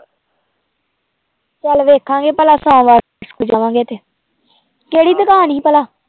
ਚੱਲ ਵੇਖਾਂਗੇ ਪਹਿਲਾਂ ਤੇ ਕਿਹੜੀ ਦੁਕਾਨ ਸੀ ਭਲਾ